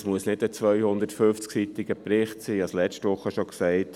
Das muss nicht ein 250-seitiger Bericht sein, das habe ich letzte Woche schon gesagt.